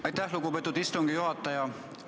Aitäh, lugupeetud istungi juhataja!